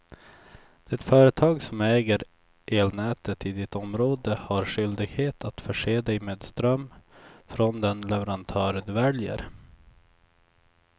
Det företag som äger elnätet i ditt område har skyldighet att förse dig med ström från den leverantör du väljer.